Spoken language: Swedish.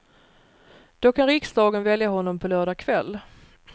Då kan riksdagen välja honom på lördag kväll.